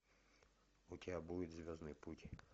у тебя будет звездный путь